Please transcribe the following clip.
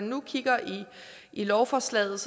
nu kigger i lovforslaget